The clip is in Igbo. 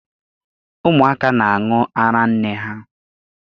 Ụmụaka na-aṅụ ara nne ha